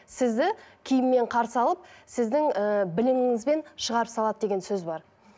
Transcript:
сізді киіммен қарсы алып сіздің ііі біліміңізбен шығарып салады деген сөз бар